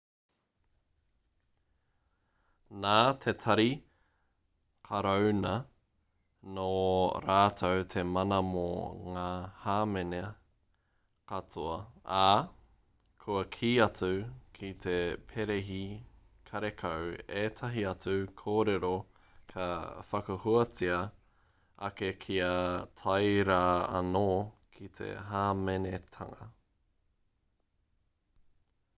nā te tari karauna nō rātou te mana mō ngā hāmene katoa ā kua kī atu ki te perehi karekau ētahi atu kōrero ka whakahuatia ake kia tae rā anō ki te hāmenetanga